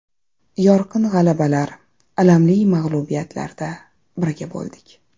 Yorqin g‘alabalar, alamli mag‘lubiyatlarda birga bo‘ldik.